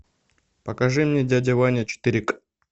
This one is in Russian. покажи мне дядя ваня четыре к